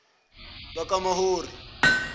bakamahori